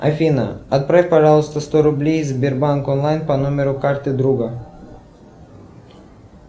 афина отправь пожалуйста сто рублей сбербанк онлайн по номеру карты друга